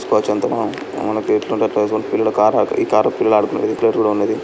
పిల్లల కారు ఈ కారు పిల్లలు ఆడుకునేది.